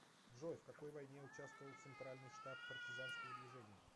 джой в какой войне участвовал центральный штаб партизанского движения